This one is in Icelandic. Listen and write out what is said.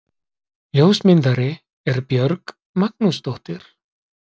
ljósmyndari er björg magnúsdóttir